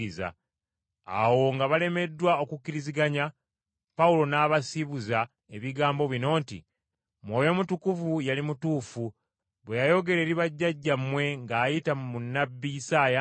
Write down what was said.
Awo nga balemeddwa okukkiriziganya, Pawulo n’abasiibuza ebigambo bino nti, “Mwoyo Mutukuvu yali mutuufu bwe yayogera eri bajjajjammwe ng’ayita mu nnabbi Isaaya nti,